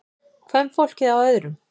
Kvenfólkið á öðrum.